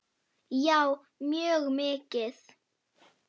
Já mjög mikið.